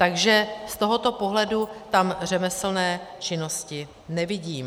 Takže z tohoto pohledu tam řemeslné činnosti nevidím.